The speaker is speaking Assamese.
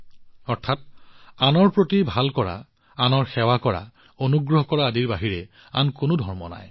অৰ্থাৎ আনৰ প্ৰতি ভাল কৰা আনৰ সেৱা কৰা অনুগ্ৰহ কৰা আদিৰ সমান আন কোনো ধৰ্ম্ম নাই